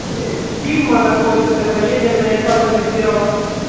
сигма находимся поедем на ильфата закирова